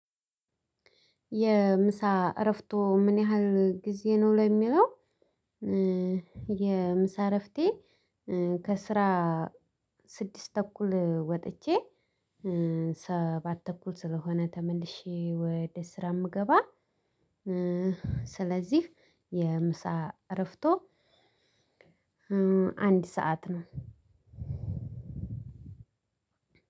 የምሳ እረፍትዎ ምን ያህል ጊዜ ነው? ለሚለው የምሳ እረፍቴ ከስራ ስድስት ተኩል ወጥቼ ሰባት ተኩል ስለሆነ ተመልሼ ወደ ስራ የምገባ ስለዚህ የምሳ እረፍትዎ አንድ ሰዓት ነው።